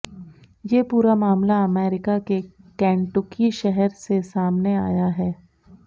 ये पूरा मामला अमेरिका के केंटुकी शहर से सामने आया है